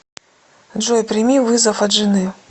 джой прими вызов от жены